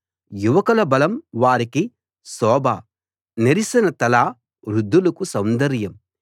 యువకుల బలం వారికి శోభ నెరిసిన తల వృద్ధులకు సౌందర్యం